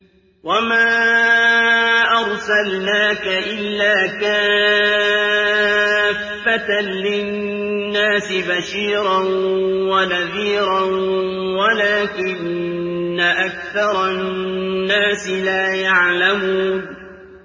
وَمَا أَرْسَلْنَاكَ إِلَّا كَافَّةً لِّلنَّاسِ بَشِيرًا وَنَذِيرًا وَلَٰكِنَّ أَكْثَرَ النَّاسِ لَا يَعْلَمُونَ